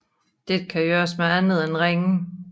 Dette kan gøres med andet end ringe